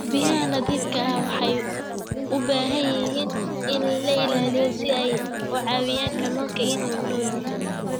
Biyaha nadiifka ah waxay u baahan yihiin in la ilaaliyo si ay u caawiyaan kalluunka inuu noolaado.